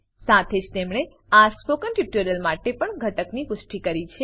સાથે જ તેમણે આ સ્પોકન ટ્યુટોરીયલ માટે પણ ઘટકની પુષ્ટિ કરી છે